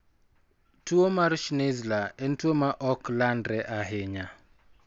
Tuwo mar Schnitzler en tuwo ma ok landre ahinya.